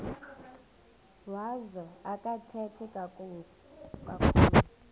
wazo akathethi kakhulu